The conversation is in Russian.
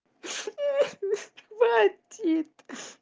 хватит